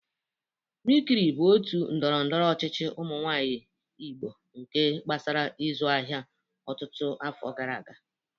Mikiri bụ otu ndọrọndọrọ ọchịchị ụmụ nwanyị igbo nke gbasara ịzụ ahịa ọtụtụ afọ gara aga